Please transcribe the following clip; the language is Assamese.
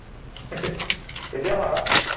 এতিয়াও পাৰ